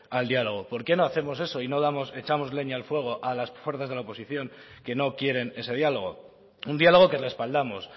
al diálogo por qué no hacemos eso y no echamos leña al fuego a las fuerzas de la oposición que no quieren ese diálogo un diálogo que respaldamos